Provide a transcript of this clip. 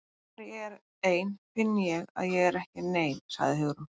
Þegar ég er ein finn ég að ég er ekki nein- sagði Hugrún.